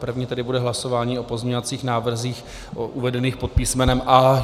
První tedy bude hlasování o pozměňovacích návrzích uvedených pod písmenem A.